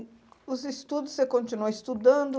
Os estudos, você continua estudando?